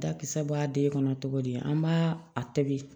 Dakisɛ bɔ a den kɔnɔ cogo di an b'a a tobi